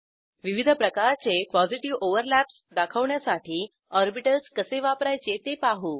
विविध प्रकारचे positive overlaps दाखवण्यासाठी ऑर्बिटल्स कसे वापरायचे ते पाहू